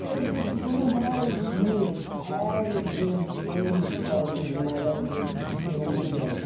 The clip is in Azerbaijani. İndi təsəvvür edin ki, bunu hər gün, hər gün eyni tutalım ki, yeməklər indi üç gündən bir dəyişir.